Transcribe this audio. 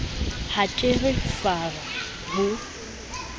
ha ke re fara ho